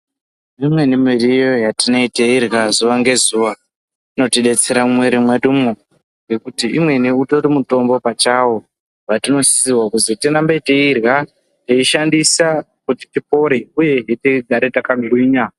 Imweni miriwo yatinee teirya zuva nge zuva inoti detsera mu mwiri mwedumwo ngekuti imweni utori mutombo pachawo watino sisirwa kuzi tirambe teirya tei shandisa kuti tipore uyehe kuti tigare taka mirinya.